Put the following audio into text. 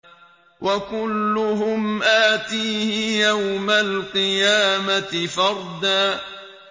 وَكُلُّهُمْ آتِيهِ يَوْمَ الْقِيَامَةِ فَرْدًا